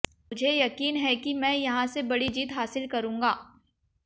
मुझे यकीन है कि मैं यहां से बड़ी जीत हासिल करूंगा